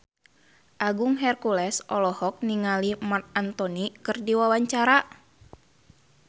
Agung Hercules olohok ningali Marc Anthony keur diwawancara